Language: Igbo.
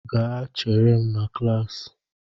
Gaa chere m na klaasị!